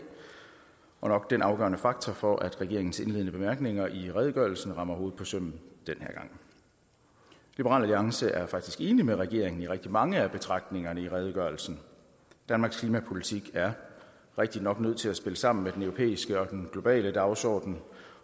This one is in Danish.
og nok den afgørende faktor for at regeringens indledende bemærkninger i redegørelsen rammer hovedet på sømmet denne gang liberal alliance er faktisk enig med regeringen i rigtig mange af betragtningerne i redegørelsen danmarks klimapolitik er rigtig nok nødt til at spille sammen med den europæiske og den globale dagsorden